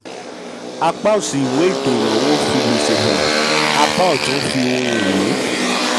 apá òsì ìwé apá òsì ìwé ètò ìnáwó fi gbèsè hàn; apá ọ̀tún fi ohun-ìní.